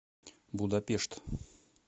будапешт